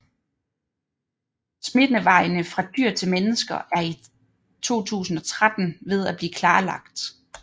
Smittevejene fra dyr til mennesker er i 2013 ved at blive klarlagt